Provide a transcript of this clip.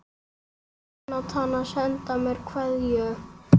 Jónatan að senda mér kveðju?